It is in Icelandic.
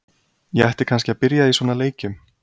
Ég ætti kannski að byrja í svona leikjum.